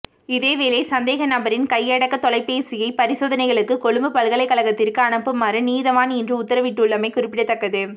இதேவேளை சந்தேகநபரின் கையடக்கத் தொலைபேசியை பரிசோதனைகளுக்காக கொழும்பு பல்கலைக்கழகத்திற்கு அனுப்புமாறு நீதவான் இன்று உத்தரவிட்டுள்ளமை குறிப்பிடத்தக்கது